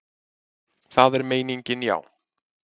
Það er meiningin, já.